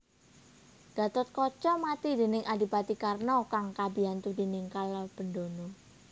Gathotkaca mati déning Adipati Karna kang dibiyantu déning Kalabendana